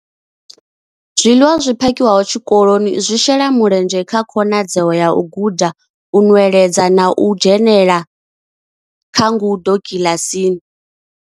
Zwiḽiwa zwi phakhiwaho tshikoloni zwi shela mulenzhe kha khonadzeo ya u guda, u nweledza na u dzhenela kha ngudo kiḽasini.